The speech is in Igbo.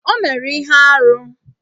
O mere ihe arụ